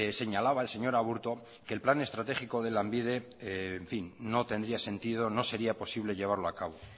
señalaba el señor aburto que el plan estratégico de lanbide no tendría sentido no sería posible llevarlo a cabo